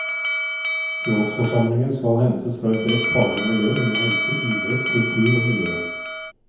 Rådsforsamlingen skal hentes fra et bredt faglig miljø innen helse, idrett, kultur og miljø.